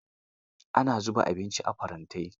Ana zuba abinci a farantai.